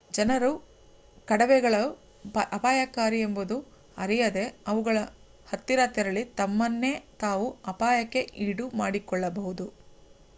ಜನರು ಕಡವೆಗಳು ಅಪಾಯಕಾರಿ ಎಂಬುದನ್ನು ಅರಿಯದೇ ಅವುಗಳ ಹತ್ತಿರ ತೆರಳಿ ತಮ್ಮನ್ನೇ ತಾವು ಅಪಾಯಕ್ಕೆ ಈಡು ಮಾಡಿಕೊಳ್ಳಬಹುದು